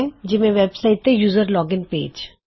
ਜਿਵੇਂ ਕੀ ਵੈਬਸਾਇਟ ਤੇ ਯੂਜ਼ਰ ਲੋਗਿਨਪੇਜ